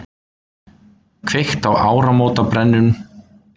Kveikt í áramótabrennum